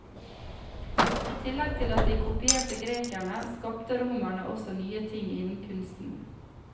I tillegg til at de kopierte grekerne, skapte romerne også nye ting innen kunsten.